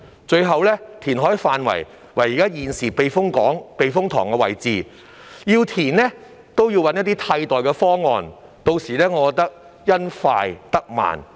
最後，填海範圍為現時避風塘的位置，即使要填海，也要先找替代避風塘，我認為到頭來只會因快得慢。